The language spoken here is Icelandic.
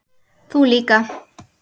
Þú líka?